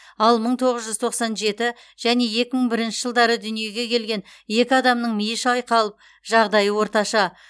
ал мың тоғыз жүз тоқсан жеті және екі мың бірінші жылдары дүниеге келген екі адамның миы шайқалып жағдайы орташа